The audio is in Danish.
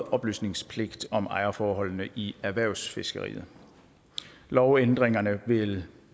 oplysningspligt om ejerforholdene i erhvervsfiskeriet lovændringerne vil